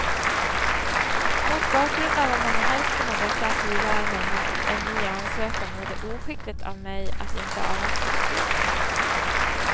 Mot bakgrund av att man i hälften av dessa asylärenden gjort en ny ansökan vore det oskickligt av mig att inte avvakta besluten.